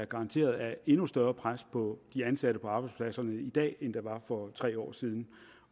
garanteret er endnu større pres på de ansatte på arbejdspladserne i dag end der var for tre år siden